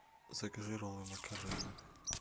закажи роллы макарена